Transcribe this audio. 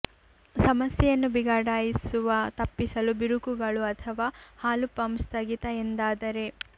ಸಮಸ್ಯೆಯನ್ನು ಬಿಗಡಾಯಿಸುವ ತಪ್ಪಿಸಲು ಬಿರುಕುಗಳು ಅಥವಾ ಹಾಲು ಪಂಪ್ ಸ್ಥಗಿತ ಎಂದಾದರೆ